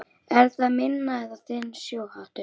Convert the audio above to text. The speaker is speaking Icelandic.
Er það minn eða þinn sjóhattur